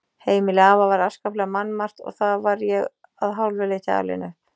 Heimili afa var afskaplega mannmargt og þar var ég að hálfu leyti alinn upp.